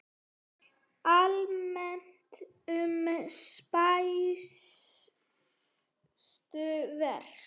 Almennt um spænsku veikina